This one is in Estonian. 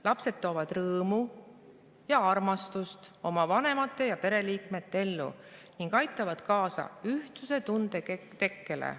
Lapsed toovad rõõmu ja armastust oma vanemate ja pereliikmete ellu ning aitavad kaasa ühtsustunde tekkele.